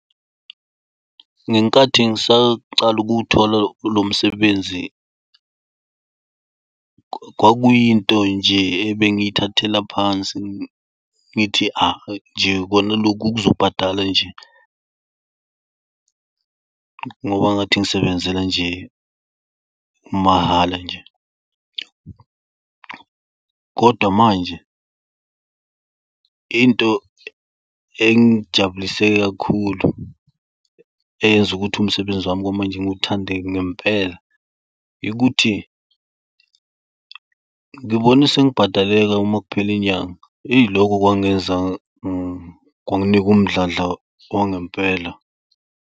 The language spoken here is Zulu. Ngenkathi ngisaqala ukuwuthola lomsebenzi kwakuyinto nje ebengiyithathela phansi, ngithi ahh, nje khona lokhu kuzobhadala nje, ngoba ngathi ngisebenzela nje, mahhala nje. Kodwa manje into engijabulise kakhulu eyenza ukuthi umsebenzi wami kwamanje ngiwuthande ngempela yikuthi ngibone sengibhadaleka makuphela inyanga. Ey, lokho kwangenza kwanginika umdlandla wangempela.